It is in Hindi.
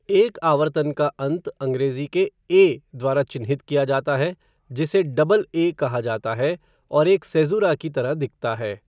एक आवर्तन का अंत अंग्रेजी के 'ए' द्वारा चिह्नित किया जाता है, जिसे 'डबल ए' कहा जाता है, और एक सेज़ुरा की तरह दिखता है।